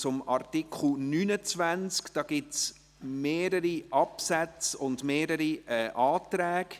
Zu Artikel 29 gibt es mehrere Absätze und Anträge.